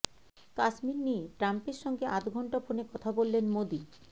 কাশ্মীর নিয়ে ট্রাম্পের সঙ্গে আধ ঘণ্টা ফোনে কথা বললেন মোদী